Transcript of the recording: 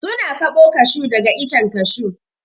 Su na kaɓo kashu daga icen kashu.